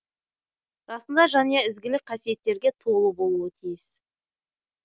расында жанұя ізгілік қасиеттерге толы болуы тиіс